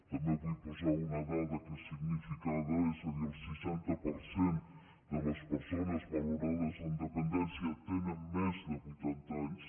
també vull posar una dada que és significada és a dir el seixanta per cent de les persones valorades amb dependència tenen més de vuitanta anys